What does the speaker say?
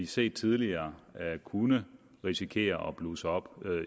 set tidligere kunne risikere at blusse op